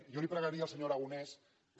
jo li pregaria al senyor aragonès que